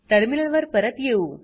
terminal वर परत येऊ